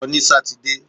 Lọ ní sátidé!